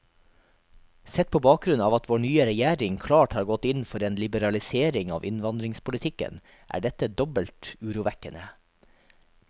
Sett på bakgrunn av at vår nye regjering klart har gått inn for en liberalisering av innvandringspolitikken, er dette dobbelt urovekkende.